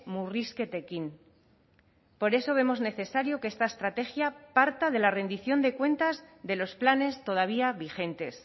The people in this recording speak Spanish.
murrizketekin por eso vemos necesario que esta estrategia parta de la rendición de cuentas de los planes todavía vigentes